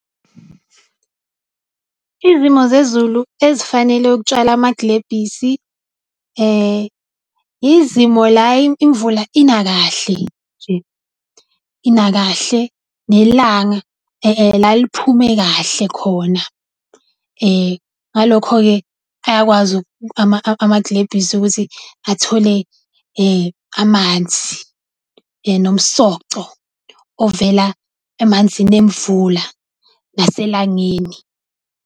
Izimo zezulu ezifanele ukutshala amaglebhisi, izimo la imvula ina kahle nj, ina kahle, nelanga laliphume kahle khona. Ngalokho-ke ayakwazi amaglebhisi ukuthi athole amanzi nomsoco ovela emanzini emvula naselangeni.